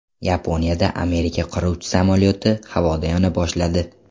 Yaponiyada Amerika qiruvchi samolyoti havoda yona boshladi.